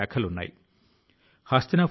ప్రతి ఒక్కరి పాత్ర ముఖ్యమైందే